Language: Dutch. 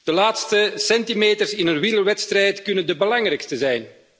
De laatste centimeters in een wielerwedstrijd kunnen de belangrijkste zijn.